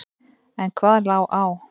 En hvað lá á?